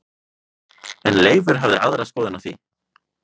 En Leifur hafði aðra skoðun á því.